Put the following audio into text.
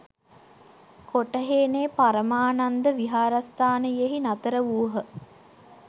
කොටහේනේ පරමානන්ද විහාරස්ථානයෙහි නතර වූහ.